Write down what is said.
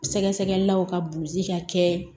Sɛgɛsɛgɛlaw ka ka kɛ